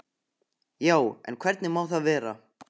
Já, en hvernig má það vera?